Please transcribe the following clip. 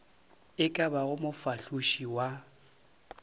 e ka bago mofahloši wa